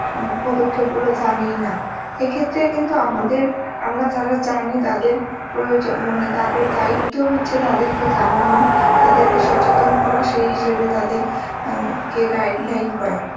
পদক্ষেপ গুলো জানেই না এ ক্ষেত্রে কিন্তু আমাদের আমরা যারা জানি তাদের প্রয়োজন মানে তাদের দায়িত্ব হচ্ছে তাদেরকে জানানো তাদেরকে সচেতন করা সেই হিসাবে তাদের এন কে guideline করা